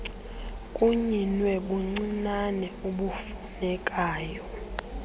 kunyinwe kubuncinane ubufunekayo